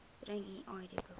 bring u idboek